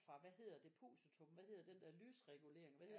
Fra hvad hedder depositum hvad hedder den der lysregulering hvad hedder